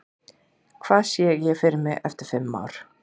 Hvar sé ég mig eftir fimm ár?